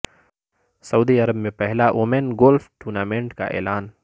سعودی Arab میں پہلا women golf tournament کا اعلان